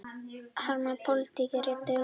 Harma pólitísk réttarhöld